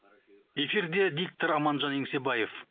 эфирде диктор аманжан еңсебаев